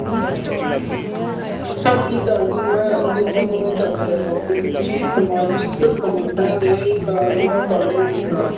ਸਤਿ ਸ੍ਰੀ ਅਕਾਲ ਜੀ ਮੈਂ ਅੱਗੇ ਤੁਹਾਨੂੰ ਇਹ ਦੱਸ ਰਿਹਾ ਸੀ ਕਿ ਸਮਾਜਿਕ ਸਮੱਸਿਆ ਦੇ ਕਾਰਨਾਂ ਬਾਰੇ ਦੱਸਣਾ